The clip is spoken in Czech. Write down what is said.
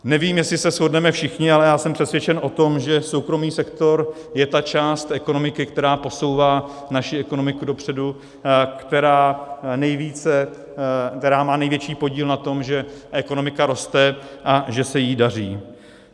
Nevím, jestli se shodneme všichni, ale já jsem přesvědčen o tom, že soukromý sektor je ta část ekonomiky, která posouvá naši ekonomiku dopředu, která má největší podíl na tom, že ekonomika roste a že se jí daří.